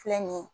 Filɛ nin ye